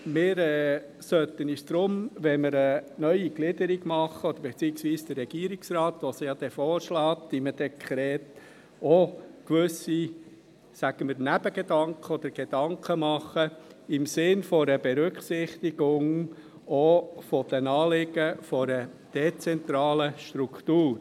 Wir sollten uns deshalb, wenn wir eine neue Gliederung machen – beziehungsweise der Regierungsrat, der diese ja dann in einem Dekret vorschlägt –, auch gewisse Nebengedanken oder Gedanken machen im Sinn einer Berücksichtigung der Anliegen einer dezentralen Struktur.